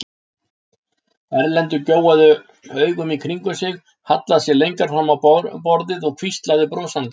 Erlendur gjóaði augum í kringum sig, hallaði sér lengra fram á borðið og hvíslaði brosandi.